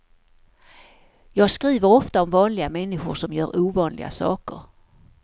Jag skriver ofta om vanliga människor som gör ovanliga saker.